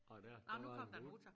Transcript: Og dér der var der noget